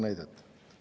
Paar näidet.